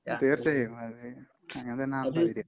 തീർച്ചയായും. അത് അങ്ങനെത്തന്നെയാണല്ലോ